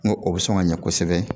N ko o bɛ sɔn ka ɲɛ kosɛbɛ.